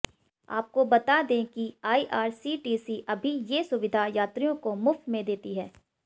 आपको बता दें कि आईआरसीटीसी अभी ये सुविधा यात्रियों को मुफ्त में देती है